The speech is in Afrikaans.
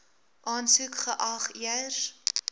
aansoek geag eers